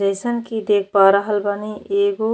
जईसन की देख पा रहल बानी एगो --